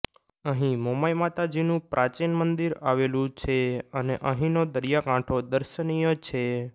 અહીં મોમાઇ માતાજી નુ પ્રાચિન મંદિર આવેલું છે અને અહીંનો દરિયાકાંઠો દર્શનીય છે